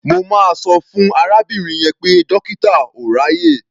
Mo máa sọ fún arábìnrin yẹn pé dọ́kítà ò ráàyè.